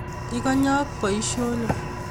Ikonyok boisionik